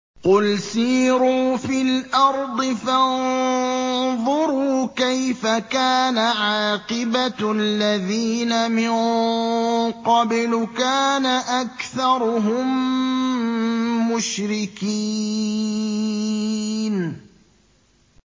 قُلْ سِيرُوا فِي الْأَرْضِ فَانظُرُوا كَيْفَ كَانَ عَاقِبَةُ الَّذِينَ مِن قَبْلُ ۚ كَانَ أَكْثَرُهُم مُّشْرِكِينَ